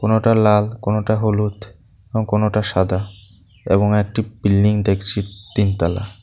কোনোটা লাল কোনোটা হলুদ এবং কোনোটা সাদা এবং একটি বিল্ডিং দেখছি তিনতলা।